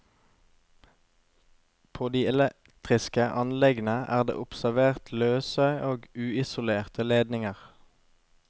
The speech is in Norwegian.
På de elektriske anleggene er det observert løse og uisolerte ledninger.